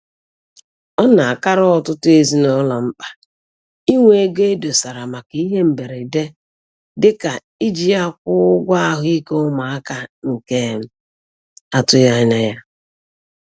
Ọ na-akara ọtụtụ ezinụlọ mkpa inwe ego e dosara maka ihe mberede dịka iji ya kwụọ ụgwọ ahụike ụmụaka nke a tụghịanya ya